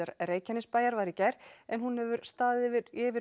Reykjanesbæjar var í gær en hún hefur staðið yfir yfir